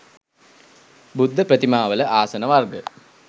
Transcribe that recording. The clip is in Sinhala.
බුද්ධ ප්‍රතිමාවල ආසන වර්ග